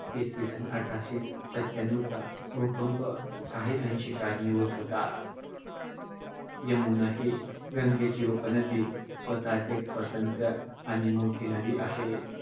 इसवी सन अठराशे सत्याण्णवचा भूकंप काही अंशी कारणीभूत होता. यमुना ही गंगेची उपनदी स्वतः च एक स्वतंत्र आणि मोठी नदी आहे.